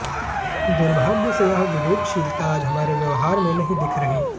दुर्भाग्य से यह विवेकशीलता आज हमारे व्यवहार में नहीं दिख रही